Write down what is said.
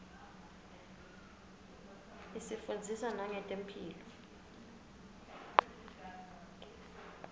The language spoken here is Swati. isifundzisa nangetemphilo